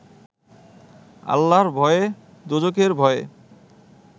আল্লাহর ভয়ে, দোযখের ভয়ে